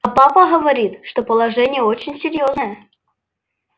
а папа говорит что положение очень серьёзное